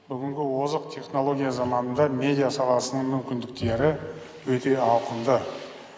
бүгінгі озық технология заманында медиа саласының мүмкіндіктері өте ауқымды